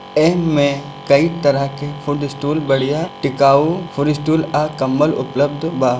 एह में कई तरह के फूड स्टाल बढ़िया टिकाऊ फूड स्टाल आ कंबल उपलब्ध बा।